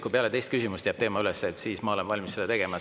Kui peale teist küsimust jääb teema üles, siis ma olen valmis seda tegema.